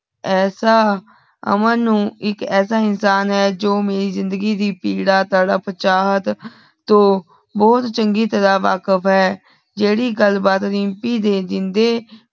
ਐਸਾ ਅਮਨ ਨੂੰ ਇਕ ਐਸਾ ਇੰਸਾਨ ਹੈ ਝੋ ਮੇਰੀ ਜ਼ਿੰਦਗੀ ਦੀ ਪੀੜ੍ਹਾ ਤੜ੍ਹੱਪ ਚਾਹਤ ਥੋ ਬੋਹੋਤ ਚੰਗੀ ਤਰਾਹ ਵਖਿਬ ਹੈ ਜੇੜ੍ਹੀ ਗੱਲ ਬਾਤ ਰੀਮਪੀ ਦੇ ਜਿੰਦੇ